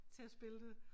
Til at spille det